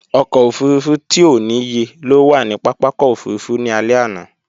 Ọkọ̀ òfurufú tí ò níye ló wà ní pápákọ̀ òfurufú ní alẹ́ àná